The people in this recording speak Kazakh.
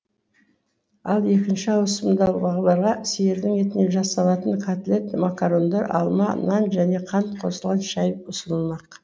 ал екінші ауысымдағыларға сиырдың етінен жасалатын котлет макарондар алма нан және қант қосылған шай ұсынылмақ